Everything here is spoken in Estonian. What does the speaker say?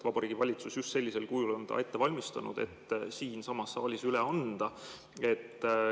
Vabariigi Valitsus on ta just sellisel kujul ette valmistanud, et siinsamas saalis üle anda.